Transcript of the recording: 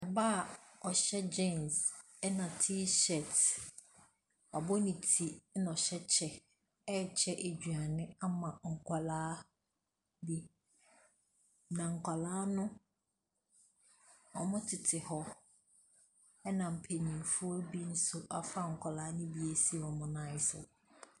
Ɔbaa ɔhyɛ gyens ɛna tee shɛɛt. Wabɔ ne ti na ɔhyɛ ɛkyɛ ɛɛkyɛ aduane ama nkwadaa bi, na nkwadaa no ɔmo tete hɔ ɛna mpaninfoɔ bi nso afa nkwadaa no bi asi wɔn nan so.